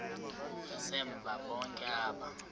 ngasemva bonke aba